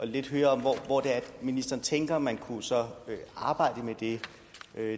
lidt om hvor ministeren tænker man så kunne arbejde med det